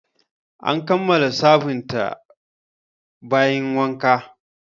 An kammala sabunta bayin wanka